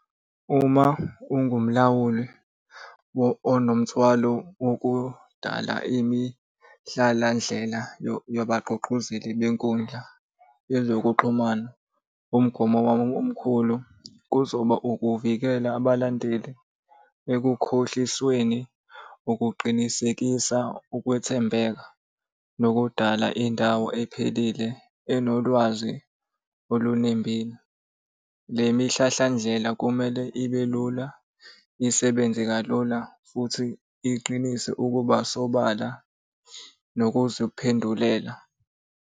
Uma ungumlawuli onomthwalo wokudala imihlalandlela yabagqugquzeli benkundla yezokuxhumana. Umgomo wabo omkhulu kuzoba ukuvikela abalandeli ekukhohlisweni ukuqinisekisa ukwethembeka nokudala indawo ephelile enolwazi olunembile. Le mihlahlandlela kumele ibe lula, isebenze kalula, futhi iqinise ukuba sobala nokuziphendulela.